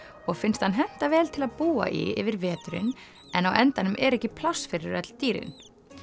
og finnst hann henta vel til að búa í yfir veturinn en á endanum er ekki pláss fyrir öll dýrin